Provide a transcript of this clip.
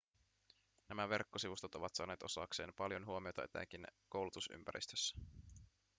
nämä verkkosivustot ovat saaneet osakseen paljon huomiota etenkin koulutusympäristössä